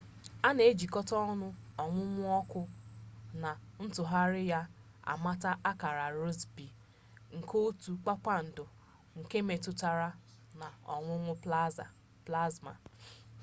a na-ejikọta ọnụ ọnwụnwụ ọkụ na ntụgharị ya amata akara rossby nke otu kpakpando nke metụtara na ọwụwụ plasma